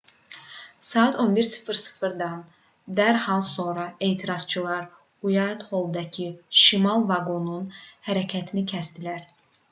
saat 11:00-dan dərhal sonra etirazçılar uaytholldakı şimal vaqonunun hərəkətini kəsdilər